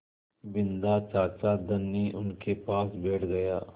बिन्दा चाचा धनी उनके पास बैठ गया